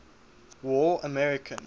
war american